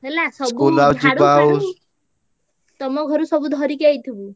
ହେଲା ସବୁ ତମ ଘରୁ ସବୁ ଧରିକି ଆଇଥିବୁ।